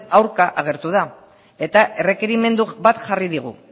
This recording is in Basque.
aurka agertu da eta errekerimendu bat jarri digu